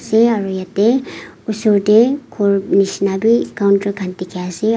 se aru yate oshor teh ghor nisna bhi counter khan dikhi ase.